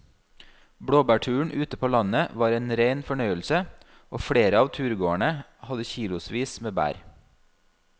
Blåbærturen ute på landet var en rein fornøyelse og flere av turgåerene hadde kilosvis med bær.